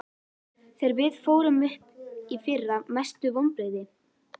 Þegar við fórum upp í fyrra Mestu vonbrigði?